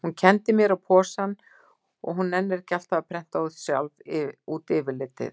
Hún kenndi mér á posann því hún nennir ekki alltaf að prenta sjálf út yfirlitið.